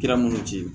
Kira minnu ci